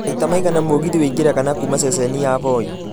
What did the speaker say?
maita maigana mũgithi wĩingĩraga na kuuma ceceni ya voi